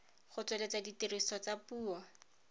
go tsweletsa tiriso ya dipuo